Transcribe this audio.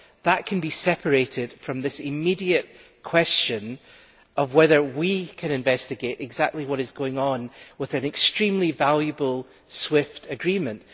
That can be separated from this immediate question of whether we can investigate exactly what is going on with an extremely valuable SWIFT agreement.